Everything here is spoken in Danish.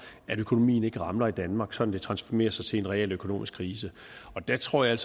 at økonomien ikke ramler i danmark sådan at det transformerer sig til en realøkonomisk krise der tror jeg